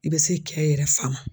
I bɛ se kɛ yɛrɛ fa ma.